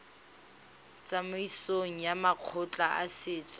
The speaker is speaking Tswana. tsamaisong ya makgotla a setso